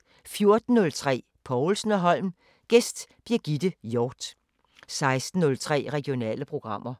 14:03: Povlsen & Holm: Gæst Birgitte Hjort 16:03: Regionale programmer